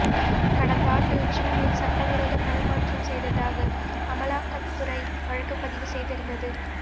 கடந்தாண்டு ஜூனில் சட்டவிரோத பணமாற்றம் செய்ததாக அமலாக்கத்துறை வழக்கு பதிவு செய்திருந்தது